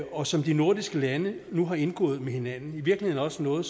og som de nordiske lande nu har indgået med hinanden i virkeligheden også noget